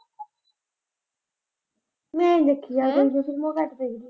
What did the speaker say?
ਨਈਂ ਦੇਖੀ ਇਹੋ ਜਿਹੀਆਂ ਫ਼ਿਲਮਾਂ ਘੱਟ ਦੇਖਦੀ ਆਂ।